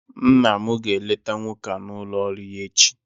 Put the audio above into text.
Nna m ga-eleta nwoke a n'ụlọ ọrụ ya echi